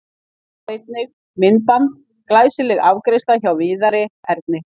Sjá einnig: Myndband: Glæsileg afgreiðsla hjá Viðari Erni